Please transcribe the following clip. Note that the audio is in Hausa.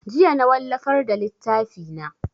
Jiya na wallafar da littafi na